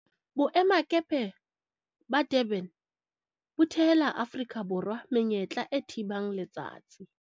Boemakepe ba Durban bo thehela Aforika Borwa menyetla e thibang letsatsi